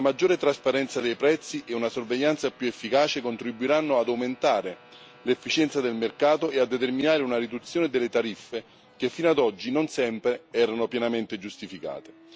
Una maggiore trasparenza dei prezzi e una sorveglianza più efficace contribuiranno ad aumentare l'efficienza del mercato e a determinare una riduzione delle tariffe, che fino ad oggi non sempre erano pienamente giustificate.